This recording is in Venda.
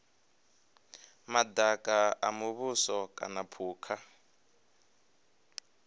madaka a muvhuso kana phukha